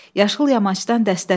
Yaşıl yamacdan dəstə tut.